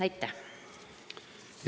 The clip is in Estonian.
Aitäh!